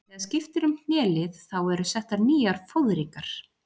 Þegar skipt er um hnélið þá eru settar nýjar fóðringar.